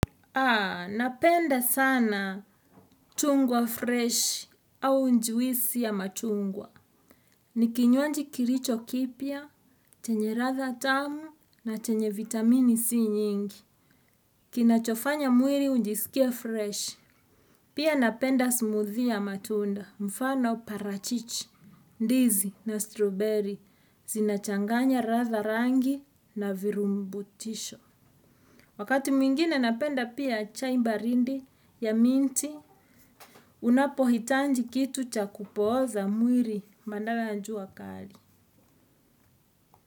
Napenda sana tungwa fresh au njwisi ya matungwa. Nikinywaji kiricho kipya, chenye ratha tamu na chenye vitamini si nyingi. Kinachofanya mwiri unjisikie fresh. Pia, napenda smoothie ya matunda, mfano parachichi, ndizi na strawberry. Zinachanganya ratha rangi na virumbutisho. Wakati mwingine, napenda pia chai mbarindi ya minti, unapohitanji kitu cha kupooza mwiri, bandara ya njua kali.